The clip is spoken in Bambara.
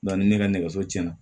ni ne ka nɛgɛso cɛn na